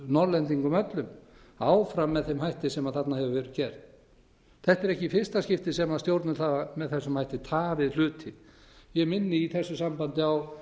norðlendingum öllum áfram með þeim hætti sem þarna hefur verið gert þetta er ekki í fyrsta skipti sem stjórnvöld hafa með þessum hætti tafið hluti ég minni í þessu sambandi á